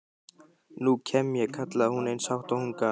Nú kem ég, kallaði hún eins hátt og hún gat.